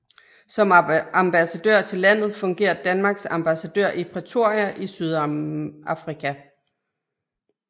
Som ambassadør til landet fungerer Danmarks ambassadør i Pretoria i Sydafrika